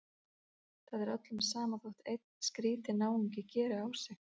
Það er öllum sama þótt einn skrýtinn náungi geri á sig.